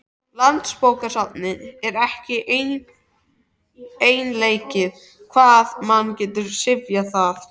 Landsbókasafn er ekki einleikið hvað mann getur syfjað þar.